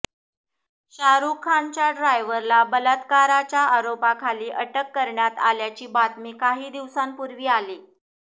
शाहरुख खानच्या ड्रायव्हरला बलात्काराच्या आरोपाखाली अटक करण्यात आल्याची बातमी काही दिवसांपूर्वी आली